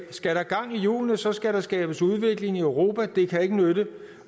skal der gang i hjulene så skal der skabes udvikling i europa det kan ikke nytte